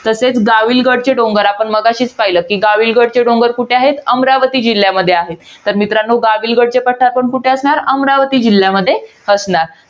तसेच गाविलगडचे डोंगर आपण, मगाशीच पाहिलं. कि, गाविलगड चे डोंगर कुठे आहेत? अमरावती जिल्ह्यामध्ये आहेत. तर मित्रांनो, गाविलगडचे पठार पण कुठे असणार? अमरावती जिल्ह्यामध्ये असणार.